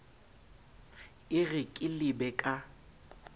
e re ke lebe ka